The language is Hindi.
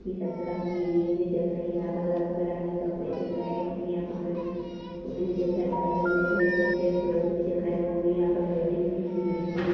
की सतरंगी ये भी दिख रही है यहाँ पर रंग-बेरंगी कपड़े दिख रहे है की यहाँ पे पेड़-पौधे भी दिख रहा है बादल भी दिख रहे कुछ परोस भी दिख रहे वो भी यह पे मेटी भी बिछी हुई --